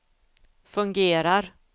fungerar